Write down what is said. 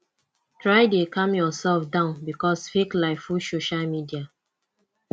try de calm yourself down because fake life full social media